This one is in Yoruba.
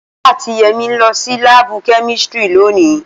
Ola ati Yemi n lo si laabu kemistri loni.